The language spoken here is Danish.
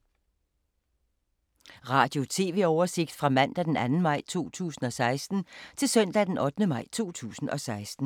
Radio/TV oversigt fra mandag d. 2. maj 2016 til søndag d. 8. maj 2016